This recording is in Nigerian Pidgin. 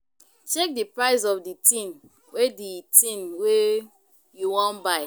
Check di price of di thing wey di thing wey you wan buy